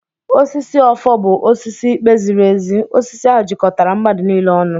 Osisi ọfọ bụ osisi ikpe ziri ezi. Osisi ahụ jikọtara mmadụ niile ọnụ.